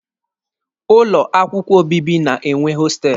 Ụlọ akwụkwọ obibi na-enwe hostelụ.